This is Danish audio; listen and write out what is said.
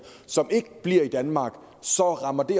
som ikke bliver i danmark så rammer det